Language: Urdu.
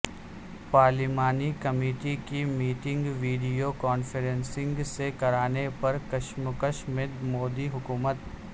پارلیمانی کمیٹی کی میٹنگ ویڈیو کانفرنسنگ سے کرانے پر کشمکش میں مودی حکومت